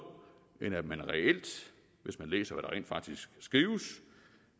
end at man reelt hvis man læser hvad der rent faktisk skrives